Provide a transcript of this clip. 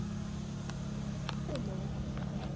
Svartur húmor.